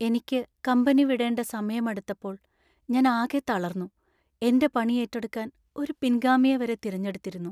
എനിക്ക് കമ്പനി വിടേണ്ട സമയം അടുത്തപ്പോൾ ഞാൻ ആകെ തളർന്നു. എൻ്റെ പണി ഏറ്റെടുക്കാൻ ഒരു പിൻഗാമിയെ വരെ തിരഞ്ഞെടുത്തിരുന്നു.